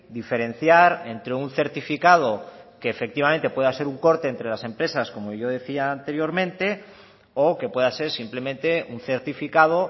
diferenciar entre un certificado que efectivamente pueda ser un corte entre las empresas como yo decía anteriormente o que pueda ser simplemente un certificado